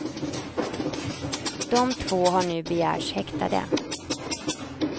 De två har nu begärts häktade.